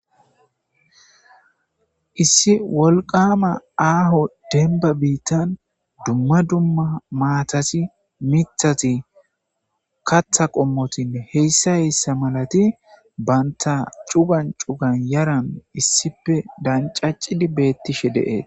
issi wolqama aaho denba biittan dumma dumma maatathi mithati katha qommotinne heyssa heyssa malati banta cugan cugan yaran issipe dancaccidi beettishe de7ee.